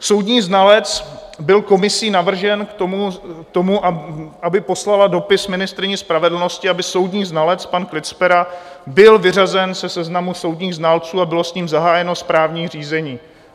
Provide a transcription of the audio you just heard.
Soudní znalec byl komisí navržen k tomu, aby poslala dopis ministryni spravedlnosti, aby soudní znalec pan Klicpera byl vyřazen ze seznamu soudních znalců a bylo s ním zahájeno správní řízení.